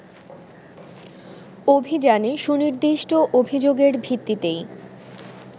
অভিযানে সুনির্দিষ্ট অভিযোগের ভিত্তিতেই